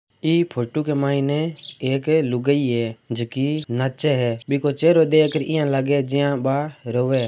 ई photo के मैंने एक लुगाई है जो की नाचे है बिको चेहरों देखर यान लागे जा बा रोवे है।